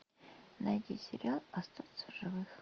найди сериал остаться в живых